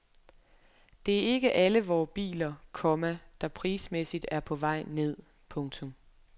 Det er ikke alle vore biler, komma der prismæssigt er på vej ned. punktum